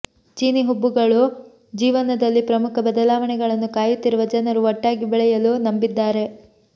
ಚೀನೀ ಹುಬ್ಬುಗಳು ಜೀವನದಲ್ಲಿ ಪ್ರಮುಖ ಬದಲಾವಣೆಗಳನ್ನು ಕಾಯುತ್ತಿರುವ ಜನರು ಒಟ್ಟಾಗಿ ಬೆಳೆಯಲು ನಂಬಿದ್ದಾರೆ